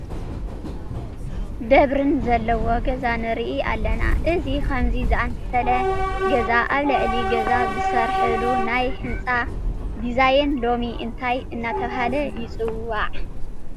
ደብርን ዘለዎ ገዛ ንርኢ ኣለና፡፡ እዚ ከምዚ ዝኣምሰለ ገዛ ኣብ ልዕሊ ገዛ ዝስርሐሉ ናይ ህንፃ ዲዛይን ሎሚ እንታይ እናተባህለ ይፅዋዕ?